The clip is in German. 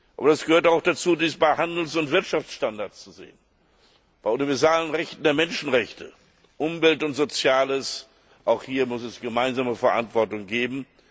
Aber es gehört auch dazu, dies bei Handels und Wirtschaftsstandards zu sehen, bei universalen Rechten der Menschenrechte, Umwelt und Sozialem auch hier muss es eine gemeinsame Verantwortung geben.